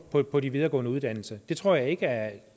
på de videregående uddannelser det tror jeg ikke er